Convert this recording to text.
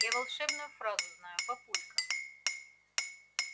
я волшебную фразу знаю папулька